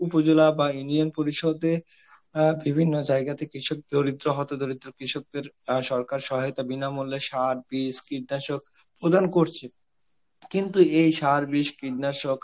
উপজলা বা union পরিষদে আঁ বিভিন্ন জায়গা থেকে সব দরিদ্র, হতদরিদ্র কৃষকদের আ সরকার সহায়তা বিনামূল্যে সার, বীজ, কীটনাশক প্রদান করছে. কিন্তু এই সার, বীজ, কীটনাশক